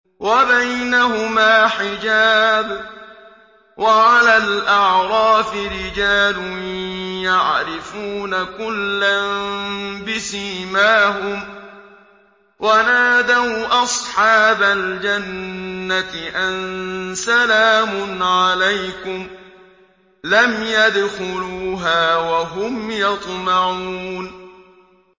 وَبَيْنَهُمَا حِجَابٌ ۚ وَعَلَى الْأَعْرَافِ رِجَالٌ يَعْرِفُونَ كُلًّا بِسِيمَاهُمْ ۚ وَنَادَوْا أَصْحَابَ الْجَنَّةِ أَن سَلَامٌ عَلَيْكُمْ ۚ لَمْ يَدْخُلُوهَا وَهُمْ يَطْمَعُونَ